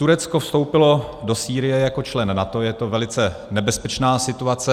Turecko vstoupilo do Sýrie jako člen NATO, je to velice nebezpečná situace.